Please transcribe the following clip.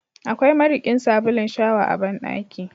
Akwai mariƙin sabulun shawa a bandaki.